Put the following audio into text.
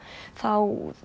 þá